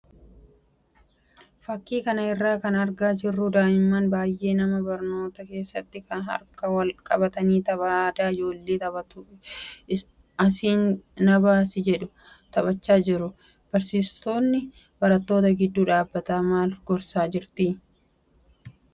Fakkii kana irraa kan argaa jirru daa'immaan baay'een mana barnootaa keessatti harka wal qabatanii tapha aadaa ijoolleen taphattu 'asiin nabaasi' jedhu taphachaa jiru. Barsiistuun barattoota gidduu dhaabbattee maal gorsaa jirti?